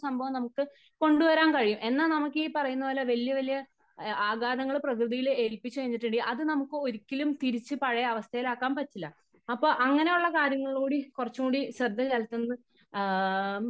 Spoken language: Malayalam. സംഭവം നമുക്ക് കൊണ്ട് വരാൻ കഴിയും. എന്ന നമുക്കീ പറയുന്നത് പോലെ വലിയ വലിയ ആഘാതങ്ങള് പ്രകൃതിയില് എൽപ്പിച്ച് കഴിഞ്ഞിട്ടുണ്ടെങ്കിൽ അത് നമുക്ക് ഒരിക്കലും തിരിച്ച് പഴയ അവസ്ഥയിൽ ആക്കാൻ പറ്റില്ല. അപ്പോ അങ്ങനെയുള്ള കാര്യങ്ങളൾ കൂടി കുറച്ചും കൂടി ശ്രദ്ധ ചെലുത്തുന്നത് ആ